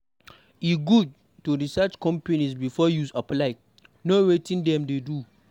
E good to research companies before you apply; know wetin dem dey do.